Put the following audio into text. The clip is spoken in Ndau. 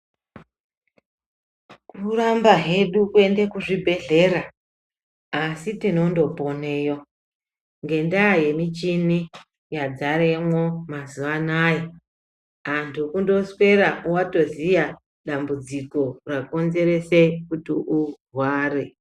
Kuramba hedu kuenda kuchibhedhlera asi tinondoponayo nenda yemichini yazaremo mazuva anaya antu kutoswera watoziya dambudziko rakonzerese kuti urware .